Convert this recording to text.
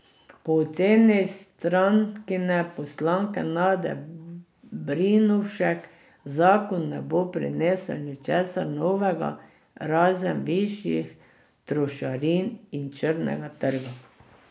Po oceni strankine poslanke Nade Brinovšek zakon ne bo prinesel ničesar novega, razen višjih trošarin in črnega trga.